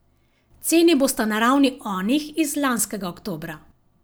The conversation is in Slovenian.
Ceni bosta na ravni onih iz lanskega oktobra.